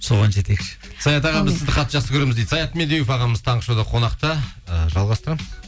соған жетейікші саят аға біз сізді қатты жақсы көреміз дейді саят медеуов ағамыз таңғы шоуда қонақта ііі жалғастырамыз